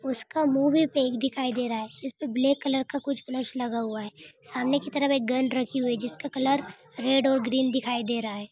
उसका मुँह भी पैक दिखाई दे रहा है इसपे ब्लैक कलर का कुछ कलश लगा हुआ है सामने की तरफ एक गन रखी हुई है जिसका कलर रेड और ग्रीन दिखाई दे रहा है।